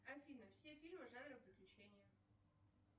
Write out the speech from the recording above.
афина все фильмы жанра приключение